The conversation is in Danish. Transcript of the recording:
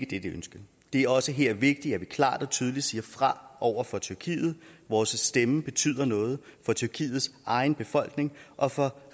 dette ønske det er også her vigtigt at vi klart og tydeligt siger fra over for tyrkiet vores stemme betyder noget for tyrkiets egen befolkning og for